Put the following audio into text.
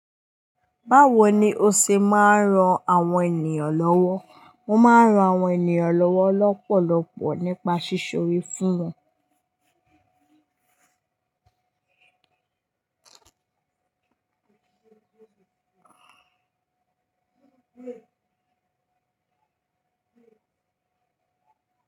Báwo ni o ṣe máa ń ran àwọn ènìyàn lọ́wọ́? Mo máa ń ran àwọn ènìyàn lọ́wọ́ lọ́pọ̀lọpọ̀ nípa sí'sọ ore fún wọn.